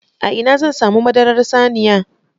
A ina zan samu madarar saniya?